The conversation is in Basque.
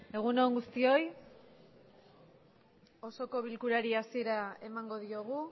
egun on guztioi osoko bilkurari hasiera emango diogu